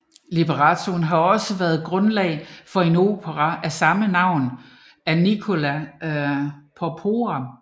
Librettoen har også været grundlag for en opera af samme navn af Nicola Porpora